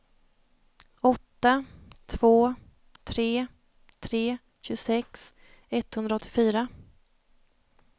åtta två tre tre tjugosex etthundraåttiofyra